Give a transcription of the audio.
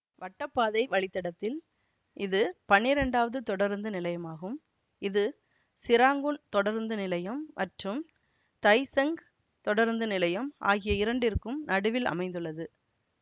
வட்டப்பாதை வழித்தடத்தில் இது பன்னிரண்டாவது தொடருந்துநிலையமாகும் இது சிராங்கூன் தொடருந்து நிலையம் மற்றும் தை செங் தொடருந்து நிலையம் ஆகிய இரண்டிற்கும் நடுவில் அமைந்துள்ளது